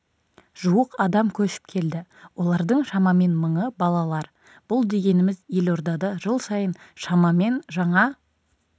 жуық адам көшіп келді олардың шамамен мыңы балалар бұл дегеніміз елордада жыл сайын шамамен жаңа